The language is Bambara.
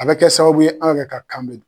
An bɛ kɛ sababu ye an yɛrɛ ka kan bɛ don